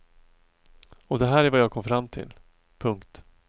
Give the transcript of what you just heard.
Och det här är vad jag kom fram till. punkt